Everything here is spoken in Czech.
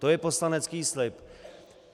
To je poslanecký slib.